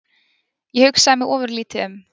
Ég hugsaði mig ofurlítið um.